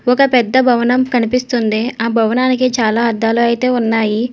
ఒక పెద్ద భవనం కనిపిస్తుంది. ఆ భవనానికి చాలా అద్దాలు అయితే ఉన్నాయి.